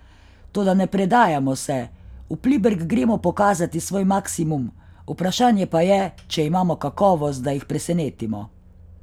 Toda ne predajamo se, v Pliberk gremo pokazati svoj maksimum, vprašanje pa je, če imamo kakovost, da jih presenetimo.